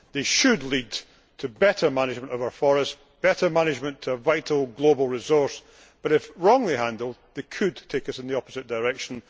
They should lead to better management of our forests and better management of vital global resources but, if wrongly handled, they could take us in the opposite direction.